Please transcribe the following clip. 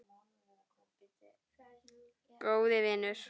Góði vinur.